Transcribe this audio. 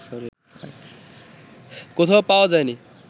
কোথাও পাওয়া যায়নি